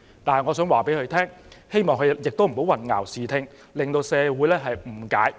但是，我促請他不要混淆視聽，引起社會誤解。